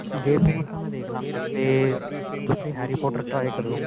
game over ਤਾਂ ਮੈਂ ਦੇਖਲਾਂਗਾ ਤੇ ਤੁਸੀਂ harry potter try ਕਰਿਓ